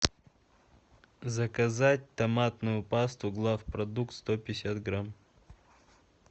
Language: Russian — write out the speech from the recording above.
заказать томатную пасту главпродукт сто пятьдесят грамм